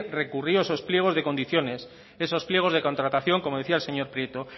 recurrió esos pliegos de condiciones esos pliegos de contratación como decía el señor prieto